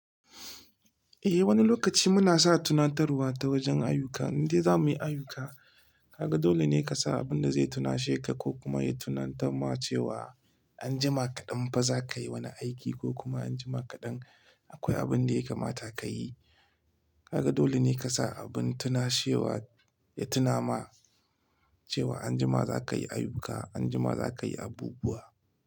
Eh wani lokaci muna sa tunatarwa ta wajen ayuka, idan za muyi ayuka, kaga dole ne ka sa abin da zai tunashe ka ko kuma ya tunatar ma cewa anjima kaɗan fa za ka yi wani aiki ko kuma anjima kaɗan akwai abin da ya kamata ka yi. Kaga dole ne ka sa abin tunashewa ya tuna ma cewa anjima za ka yi ayuka, anjima za ka yi abubuwa.